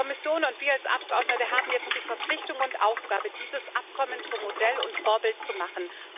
Die Kommission und wir als Abgeordnete haben jetzt die Verpflichtung und Aufgabe, dieses Abkommen zum Modell und Vorbild zu machen.